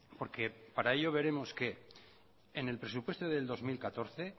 porque para ello veremos que en el presupuesto de dos mil catorce